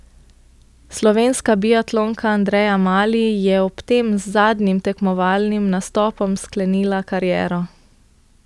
Slovenska biatlonka Andreja Mali je ob tem z zadnjim tekmovalnim nastopom sklenila kariero.